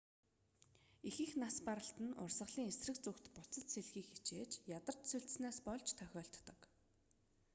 ихэнх нас баралт нь урсгалын эсрэг зүгт буцаж сэлэхийг хичээж ядарч сульдсанаас болж тохиолддог